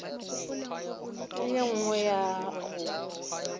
le ye nngwe ya go